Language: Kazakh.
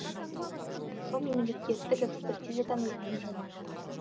бұл мемлекеттік экспертизадан өткен жоба